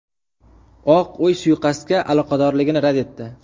Oq uy suiqasdga aloqadorligini rad etdi.